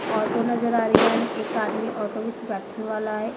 Auto ਨਜ਼ਰ ਆ ਰਹੀਆਂ ਨੇ ਇੱਕ ਆਦਮੀ ਆਟੋ ਵਿੱਚ ਬੈਠਣ ਵਾਲਾ ਹੈ।